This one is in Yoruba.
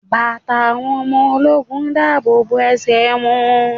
Bàtà àwọn ọmọ ológun yóò dáàbò bo ẹsẹ̀ wọn.